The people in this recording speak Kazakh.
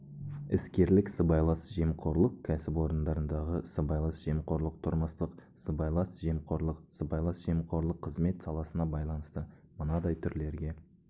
іскерлік сыбайлас жемқорлық кәсіпорындардағы сыбайлас жемқорлық тұрмыстық сыбайлас жемқорлық сыбайлас жемқорлық қызмет саласына байланысты мынадай түрлерге